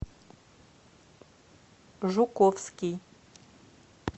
жуковский